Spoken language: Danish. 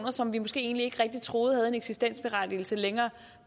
som vi måske egentlig ikke troede havde en eksistensberettigelse længere